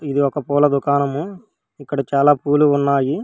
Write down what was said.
ఇది ఒక పూల దుకాణము ఇక్కడ చాలా పూలు ఉన్నాయి.